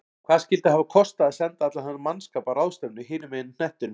Hvað skyldi hafa kostað að senda allan þennan mannskap á ráðstefnu hinum megin á hnettinum?